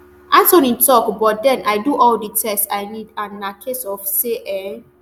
anthony tok but then i do all di tests i need and na case of say e